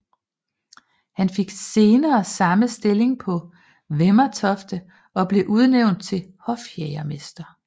Han fik senere samme stilling på Vemmetofte og blev udnævnt til hofjægermester